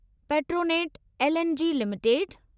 Petronet LNG limited